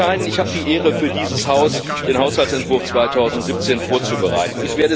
Herr Katainen, ich habe die Ehre, für dieses Haus den Haushaltsentwurf 2017 vorzubereiten.